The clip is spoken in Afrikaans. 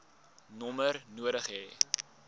nommer nodig hê